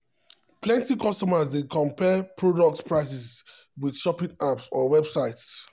plenty consumers dey compare product prices with shopping apps or websites.